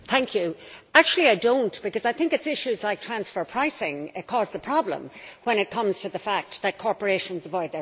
Actually I do not, because I think it is issues like transfer pricing which cause the problem when it comes to the fact that corporations avoid their tax.